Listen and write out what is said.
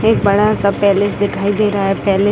एक बड़ा-सा प्लेस दिखाई दे रहा है प्ले --